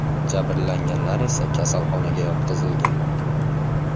Jabrlanganlar esa kasalxonaga yotqizilgan.